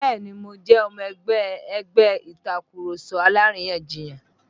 Bẹ́ẹ̀ni mo jẹ́ ọmọ ẹgbẹ́ ẹgbẹ́ Ìtàkurọ̀sọ alárìyanjiyàn